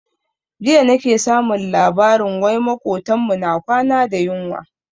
Jiya nake samun labarin wai makotan mu na kwana da yunwa.